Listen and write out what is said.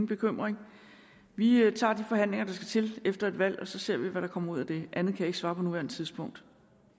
bekymring vi tager de forhandlinger der skal til efter et valg og så ser vi hvad der kommer ud af det andet kan jeg ikke svare på nuværende tidspunkt